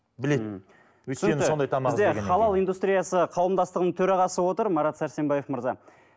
бізде халал индустриясы қауымдастығының төрағасы отыр марат сәрсенбаев мырза